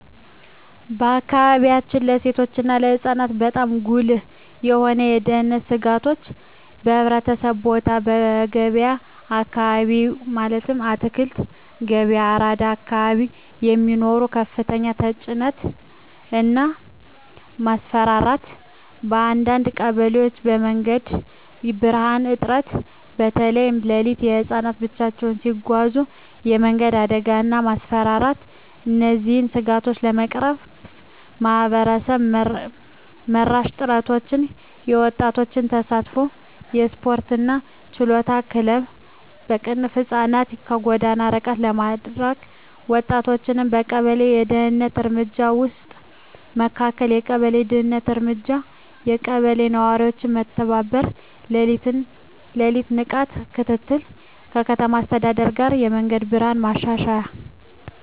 በአካባቢያችን ለሴቶች እና ለህፃናት በጣም ጉልህ የሆኑ የደህንነት ስጋቶች :- በሕዝብ ቦታዎች *በገበያ አካባቢዎች (አትክልት ገበያ፣ አራዳ አካባቢ) የሚኖር ከፍተኛ ተጭነት እና ማስፈራራት *በአንዳንድ ቀበሌዎች የመንገድ ብርሃን እጥረት (በተለይ ሌሊት) *ህፃናት ብቻቸውን ሲጓዙ የመንገድ አደጋ እና ማስፈራራት እነዚህን ስጋቶች ለመቅረፍ ማህበረሰብ መራሽ ጥረቶች :- የወጣቶች ተሳትፎ *የስፖርትና የችሎታ ክለቦች (ህፃናትን ከጎዳና ርቀት ለማድረግ) *ወጣቶችን በቀበሌ የደህንነት እርምጃ ውስጥ ማካተት የቀበሌ ደህንነት እርምጃ *የቀበሌ ነዋሪዎች በመተባበር የሌሊት ንቃት ክትትል *ከከተማ አስተዳደር ጋር የመንገድ ብርሃን ማሻሻያ